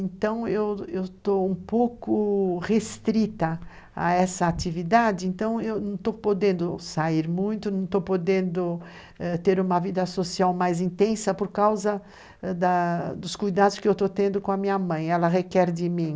Então, eu eu estou um pouco restrita a essa atividade, então eu não estou podendo sair muito, não estou podendo ãh ter uma vida social mais intensa por causa ãh dos cuidados que eu estou tendo com a minha mãe, ela requer de mim.